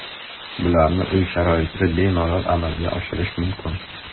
Bularni uy sharoitida bemalol amalga oshirish mumkin.